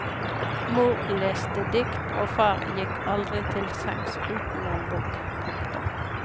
Mor leste dikt og far gikk aldri til sengs uten en bok. punktum